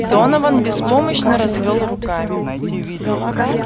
донован беспомощно развёл руками